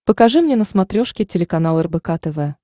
покажи мне на смотрешке телеканал рбк тв